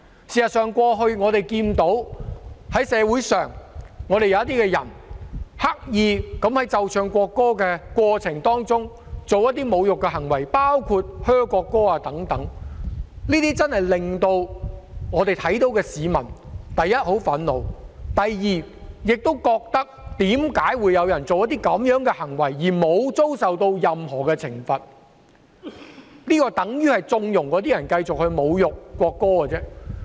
事實上，過去我們看到社會上有些人刻意在奏唱國歌的過程中作出一些侮辱行為，包括在奏唱國歌時報以噓聲等，令看到這些行為的市民真的感到很憤怒；第二，市民亦覺得為何有人作出這些行為後，不會遭受任何懲罰，這樣等於縱容那些人繼續侮辱國歌。